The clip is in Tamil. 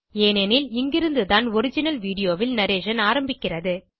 ஏனெனில் இங்கிருந்து தான் ஒரிஜினல் வீடியோ ல் நரேஷன் ஆரம்பிக்கிறது